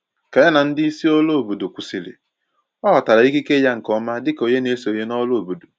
Ka ya na ndị isi òrụ́ obodo kwụsịrị, ọ ghọtara ikike ya nke ọma dịka onye na-esonye n’ọrụ obodo